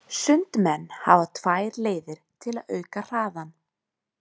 Sundmenn hafa tvær leiðir til að auka hraðann.